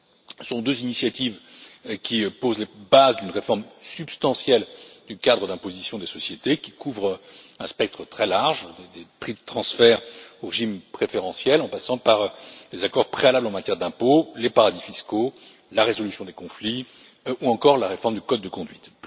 Ce sont deux initiatives qui posent les bases d'une réforme substantielle du cadre d'imposition des sociétés, qui couvre un spectre très large, allant des prix de transfert aux régimes préférentiels en passant par des accords préalables en matière d'impôt, les paradis fiscaux, la résolution des conflits ou encore la réforme du code de conduite.